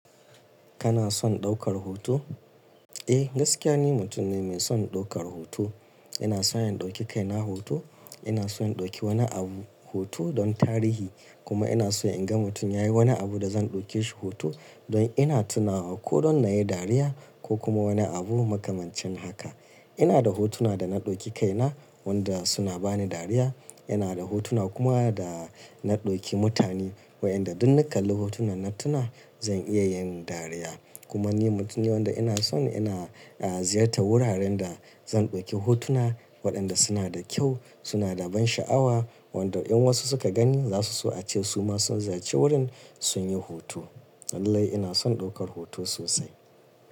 Kana son ɗaukar hoto? Eh, gaskiya ne mutum ne mai son ɗaukar hoto. Ina son in ɗauki kaina hoto. Ina son in ɗauki wani abu hoto don tarihi. Kuma ina so in ga mutum ya yi wani abu da zan ɗauke shi hoto don ina tunawa ko don na yi dariya ko kuma wani abu makamancin haka. Ina da hotuna da na ɗauki kaina, wanda suna bani dariya. Ina da hotuna kuma da na ɗauki mutane waɗanda duk na kalli hotunan na tuna zan iya yin dariya. Kuma ni mutum ne wanda ina son ina, ah, ziyarta wuraren da zan ɗauki hotuna waɗanda suna da kyau, suna da ban sha'awa, wanda in wasu suka gani za su so a ce su ma sun ziyarci wurin sun yi hoto. Tsadaai ina son ɗaukar hoto sosai.